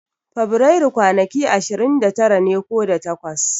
Fabrairu kwanaki ashirin da tara ne ko da takwas.